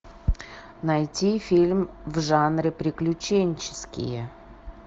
найти фильм в жанре приключенческие